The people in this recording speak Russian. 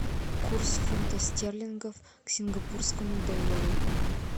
курс фунта стерлингов к сингапурскому доллару